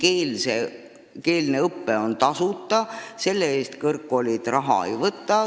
Eestikeelne õpe on tasuta, selle eest kõrgkoolid raha ei võta.